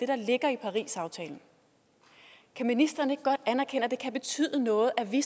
der ligger i parisaftalen kan ministeren ikke godt anerkende at det kan betyde noget at vi